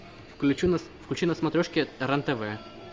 включи на смотрешке рен тв